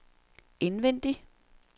indvendig